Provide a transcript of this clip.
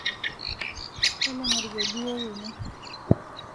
talanga orkeju wou ene